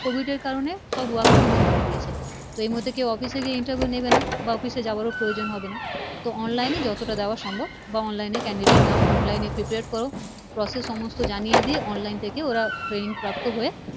Covid এর কারনে সব Work from Home করে দিয়েছে তো এই মুহুতে কি Office এ গিয়ে Interviwe নিবে না বা Office এ যাবারও প্রয়োজন হবে না তো Online এ যতটা দেওয়া সম্ভব বা Online Candidate নাও Online এ Prepaid কোরো Process সমস্থ জানিয়ে দিয়ে Online ওরা Traning প্রাপ্ত হয়ে